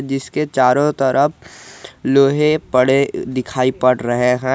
जिसके चारों तरफ लोहे पड़े दिखाई पड़ रहे हैं।